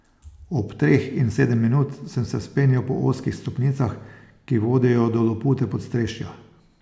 Ob treh in sedem minut sem se vzpenjal po ozkih stopnicah, ki vodijo do lopute podstrešja.